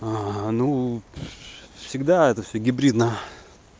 а ну всегда это всё гибридно